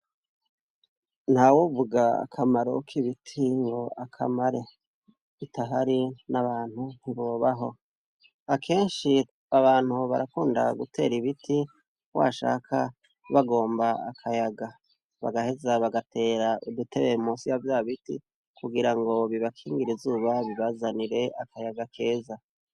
Ntawovuga akamaro k'ibiti ngo akamare. Bitahari n'abantu ntibobaho. Akenshi abantu barakunda gutera ibiti washaka bagomba akayaga. Bagaheza bagatera udutebe munsi ya vya biti kugira ngo bibakingire izuba bibazanire akayaga keza.